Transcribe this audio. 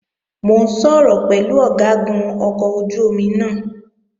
Mò ń sọ̀rọ̀ pẹ̀lú Ọ̀gágun ọkọ̀ ojú-omi náà